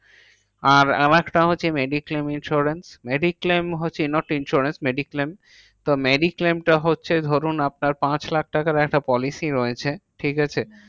আর আরেকটা হচ্ছে mediclaim insurance. mediclaim হচ্ছে not insurance mediclaim তো mediclaim টা হচ্ছে ধরুন আপনার পাঁচ লাখ টাকার একটা policy রয়েছে, ঠিকাছে?